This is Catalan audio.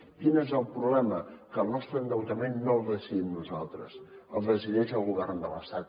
quin és el problema que el nostre endeutament no el decidim nosaltres el decideix el govern de l’estat